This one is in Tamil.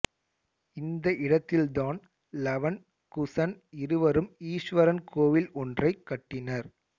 இந்த இடத்தில்தான் லவன் குசன் இருவரும் ஈஸ்வரன் கோயில் ஒன்றைக் கட்டினர்